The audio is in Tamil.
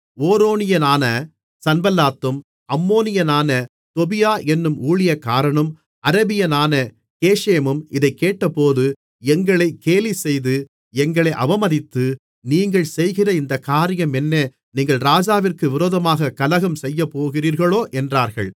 ஓரோனியனான சன்பல்லாத்தும் அம்மோனியனான தொபியா என்னும் ஊழியக்காரனும் அரபியனான கேஷேமும் இதைக் கேட்டபோது எங்களை கேலிசெய்து எங்களை அவமதித்து நீங்கள் செய்கிற இந்தக் காரியம் என்ன நீங்கள் ராஜாவிற்கு விரோதமாகக் கலகம் செய்யப்போகிறீர்களோ என்றார்கள்